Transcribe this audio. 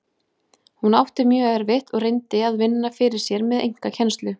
Hún átti mjög erfitt og reyndi að vinna fyrir sér með einkakennslu.